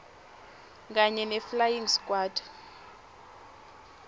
kanye neflying squad